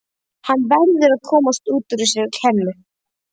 Hann verður að komast út úr þessari klemmu.